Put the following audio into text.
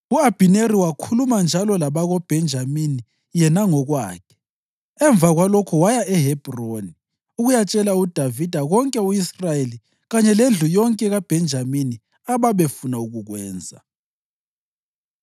U-Abhineri wakhuluma njalo labakoBhenjamini yena ngokwakhe. Emva kwalokho waya eHebhroni ukuyatshela uDavida konke u-Israyeli kanye lendlu yonke kaBhenjamini ababefuna ukukwenza.